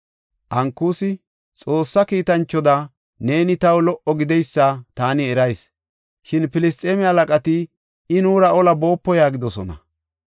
Ankusi, “Xoossa kiitanchoda neeni taw lo77o gideysa taani erayis. Shin Filisxeeme halaqati, ‘I nuura ola boopo’ yaagidosona.